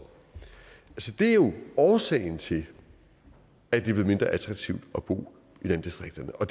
det er jo årsagen til at det bliver mindre attraktivt at bo i landdistrikterne og